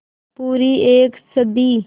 पूरी एक सदी